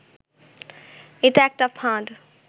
এটা একটা ফাঁদ